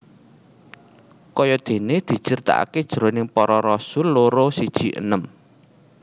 Kayadéné dicritakaké jroning Para Rasul loro siji enem